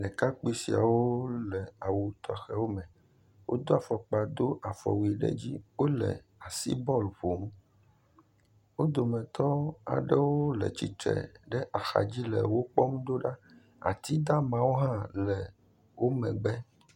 Ɖekakpui siawo le awu tɔxɛwo me wodo afɔkpa do afɔwui ɖe edzi. Wole asibɔlu ƒom. Wo dometɔ aɖewo le tsitre ɖe axadzi le wokpɔm ɖoɖa. Atidamawo hã le wo megbe.